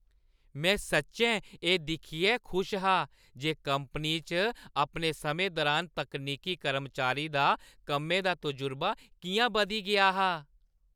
में सच्चैं एह् दिक्खियै खुश हा जे कंपनी च अपने समें दरान तकनीकी कर्मचारी दा कम्मै दा तजुर्बा किʼयां बधी गेआ हा।